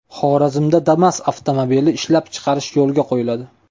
Xorazmda Damas avtomobili ishlab chiqarish yo‘lga qo‘yiladi.